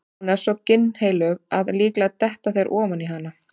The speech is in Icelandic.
Hún er svo ginnheilög að líklega detta þeir ofan í hana.